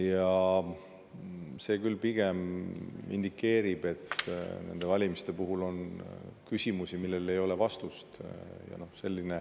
Ja see küll indikeerib, et nende valimiste puhul on küsimusi, millele ei ole vastust.